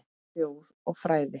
Þjóð og fræði